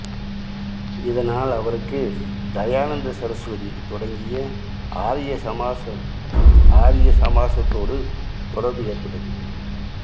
இதனால் அவருக்கு தயானந்த சரசுவதி தொடங்கிய ஆரிய சமாசம்ஆரிய சமாசத்தோடு தொடர்பு ஏற்பட்டது